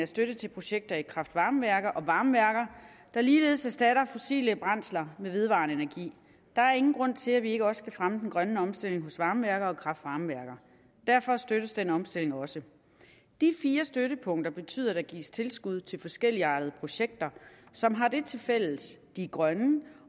støtte til projekter i kraft varme værker og varmeværker der ligeledes erstatter fossile brændsler med vedvarende energi der er ingen grund til at vi ikke også skal fremme den grønne omstilling hos varmeværker og kraft varme værker derfor støttes den omstilling også de fire støttepunkter betyder at der gives tilskud til forskelligartede projekter som har det til fælles at de er grønne